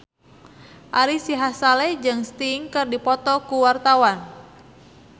Ari Sihasale jeung Sting keur dipoto ku wartawan